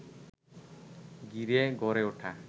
ঘিরে গড়ে ওঠা